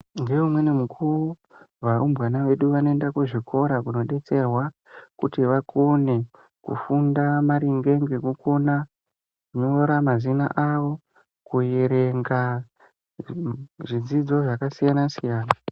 Ngeumweni mukuvo varumbwana vedu vanoenda kuzvikora kunobetserwa. Kuti vakone kufunda maringe ngekukona kunyora mazina avo kuyerenga zvidzidzo zvakasiyana-siyana.